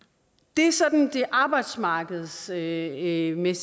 det er sådan de arbejdsmarkedsmæssige